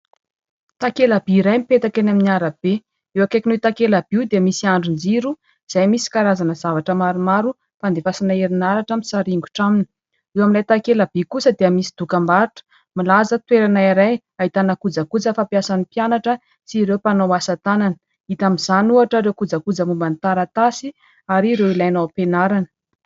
takelaby iray mipetaka eny amin'ny arabe eo ankaikinho takela by io dia misy andron-jiro izay misy karazana zavatra maromaro mpandevasina herinaratra misaringotra aminy eo ami'ilay takelaby kosa dia misy dokam-barotra milaza toerana iray haitana koja koja fa mpiasan'ny mpianatra sy ireo mpanao asatanana hita amin'izany ohotra ireo kojakoja momba ny taratasy ary ireo ilaina ao am-penarana